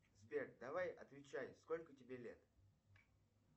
сбер давай отвечай сколько тебе лет